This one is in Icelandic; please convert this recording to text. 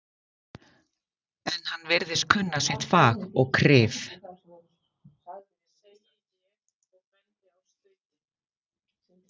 En hann virðist kunna sitt fag og kryf